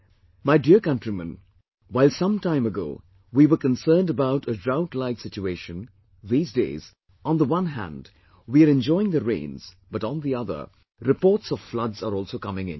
My dear countrymen, while some time ago, we were concerned about a drought like situation, these days, on the one hand, we are enjoying the rains, but on the other, reports of floods are also coming in